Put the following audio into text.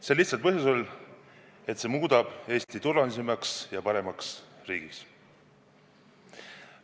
Seda lihtsal põhjusel, et see muudab Eesti turvalisemaks ja paremaks riigiks.